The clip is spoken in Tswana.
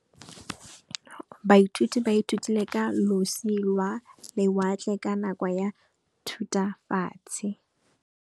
Baithuti ba ithutile ka losi lwa lewatle ka nako ya Thutafatshe.